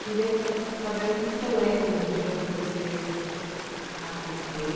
Queria sa saber o que é que você lembra do dia quando você a